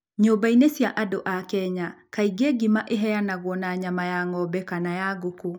Nyũmba-inĩ cia andũ a Kenya, kaingĩ ũgali ũheanagwo na nyama ya ng'ombe kana ya ngũkũ.